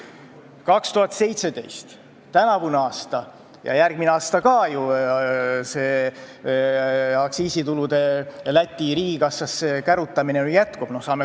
2017, tänavu ja järgmine aasta aktsiisitulude Läti riigikassasse kärutamine jätkub.